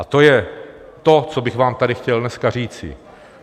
A to je to, co bych vám tady chtěl dneska říci.